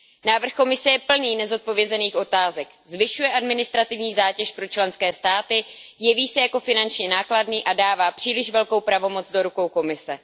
Návrh Evropské komise je plný nezodpovězených otázek. Zvyšuje administrativní zátěž pro členské státy, jeví se jako finančně nákladný a dává příliš velkou pravomoc do rukou Evropské komise.